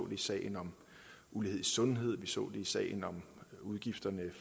i sagen om ulighed i sundhed vi så i sagen om udgifterne